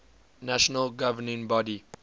national governing body